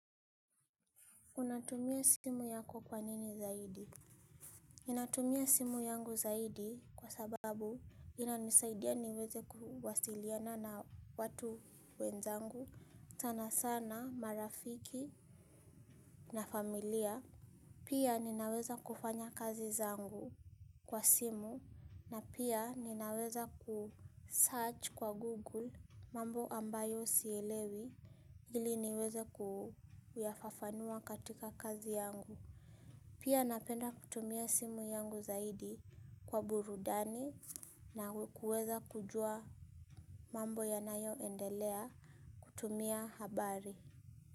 Unatumia simu yako kwa nini zaidi? Ninatumia simu yangu zaidi kwa sababu inanisaidia niweze kuwasiliana na watu wenzangu. Sanasana marafiki na familia. Pia ninaweza kufanya kazi zangu kwa simu na pia ninaweza kusearch kwa google mambo ambayo sielewi. Ili niweze kuyafafanua katika kazi yangu. Pia napenda kutumia simu yangu zaidi kwa burudani na kuweza kujua mambo ya nayoendelea kutumia habari.